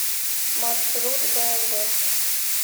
маршрут бээмвэ